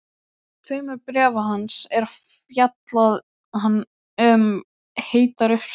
tveimur bréfa hans er fjallað um heitar uppsprettur.